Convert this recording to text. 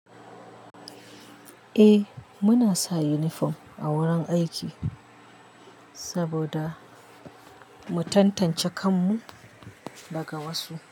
Eh muna sa uniform a wurin aiki saboda mu tantance kanmu daga wasu.